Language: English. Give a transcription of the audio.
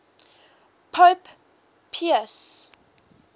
pope pius